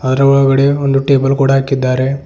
ಅದರೊಳಗಡೆ ಒಂದು ಟೇಬಲ್ ಕೂಡ ಹಾಕಿದ್ದಾರೆ.